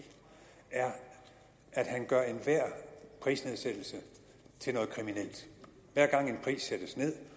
er at han gør enhver prisnedsættelse til noget kriminelt hver gang en pris sættes ned